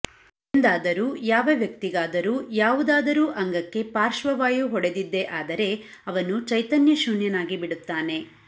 ಎಂದಾದರೂ ಯಾವ ವ್ಯಕ್ತಿಗಾದರೂ ಯಾವುದಾದರೂ ಅಂಗಕ್ಕೆ ಪಾಶ್ರ್ವವಾಯು ಹೊಡೆದಿದ್ದೇ ಆದರೆ ಅವನು ಚೈತನ್ಯಶೂನ್ಯನಾಗಿ ಬಿಡುತ್ತಾನೆ